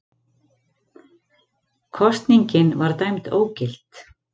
Kosningin var dæmd ógild